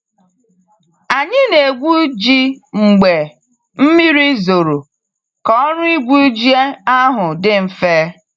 Anyi na egwu ji mgbe mmiri zoro ka ọrụ igwu ji ahụ di mfe.